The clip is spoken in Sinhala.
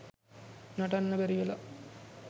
නටන්න බැරි වෙලා